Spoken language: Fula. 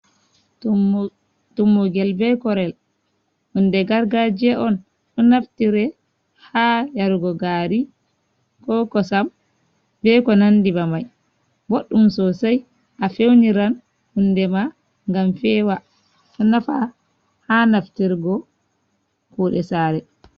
Tummugel be korel, hunde gargajiya on ɗo naftire ha yarugo gari, ko kosam, ba ko nandi be mai, ɓoɗɗum sosei a fewniran hunde ma ngam fewa, ɗo nafa ha naftirgo kuɗe sare.